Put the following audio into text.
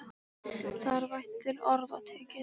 Það er vægt til orða tekið.